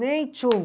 Nem tchum.